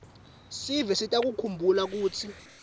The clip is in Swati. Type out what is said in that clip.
sive sitawukhumbula kutsi